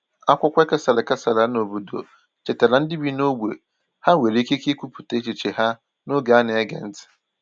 Akwụkwọ e kesàrà kesàrà n’obodo chetaara ndị bi n’ógbè ha nwere ikike ikwupụta echiche ha n’oge a na-ege ntị.